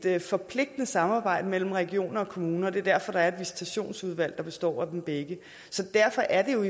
et forpligtende samarbejde mellem regioner og kommuner det er derfor der er visitationsudvalg der består af dem begge så derfor er